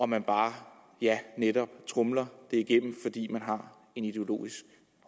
man bare ja netop tromler det igennem fordi man har en ideologisk